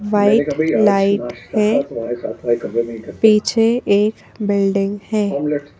White light है पीछे एक बिल्डिंग है।